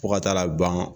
Fo ka taa ban